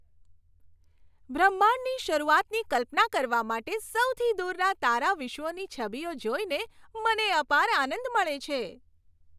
બ્રહ્માંડની શરૂઆતની કલ્પના કરવા માટે સૌથી દૂરના તારાવિશ્વોની છબીઓ જોઈને મને અપાર આનંદ મળે છે.